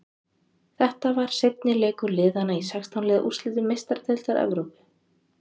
Þetta var seinni leikur liðana í sextán liða úrslitum Meistaradeildar Evrópu.